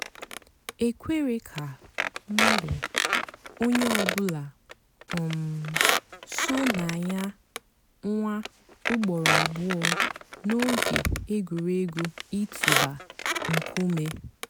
é kwèré kà ónyé ọ̀ bụ́là um só nà yà nwáá ùgbòró àbụ́ọ́ n'óge ègwùrégwú ị̀tụ́bà nkúmé.